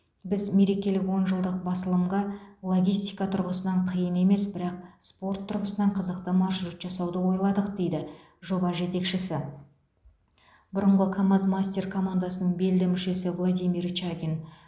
біз мерекелік он жылдық басылымға логистика тұрғысынан қиын емес бірақ спорт тұрғысынан қызықты маршрут жасауды ойладық дейді жоба жетекшісі бұрынғы камаз мастер командасының белді мүшесі владимир чагин